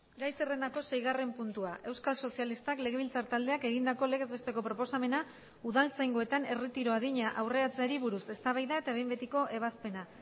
gai zerrendako seigarren puntua euskal sozialistak legebiltzar taldeak egindako legez besteko proposamena udaltzaingoetan erretiro adina aurreratzeari buruz eztabaida eta behin betiko ebazpena